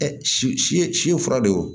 si si ye si fura de ye o